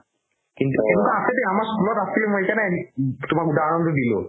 কিন্তু সেনেকুৱা আছে দেই আমাৰ school ত আছিলে সেইকাৰণে তুমাক উদাহৰণতো দিলো